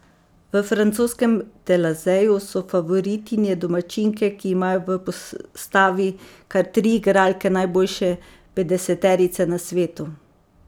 V francoskem Telazeju so favoritinje domačinke, ki imajo v postavi kar tri igralke najboljše petdeseterice na svetu.